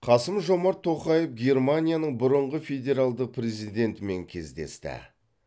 қасым жомарт тоқаев германияның бұрынғы федералдық президентімен кездесті